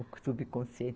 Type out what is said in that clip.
O subconsciente